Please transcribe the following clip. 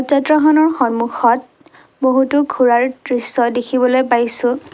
Tractor খনৰ সন্মুখত বহুতো ঘোঁৰাৰ দৃশ্য দেখিবলৈ পাইছোঁ।